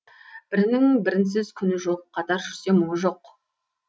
бірінің бірінсіз күні жоқ қатар жүрсе мұңы жоқ